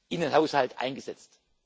in den Haushalt eingesetzt.